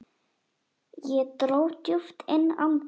Ég dró djúpt inn andann.